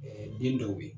den dɔw ye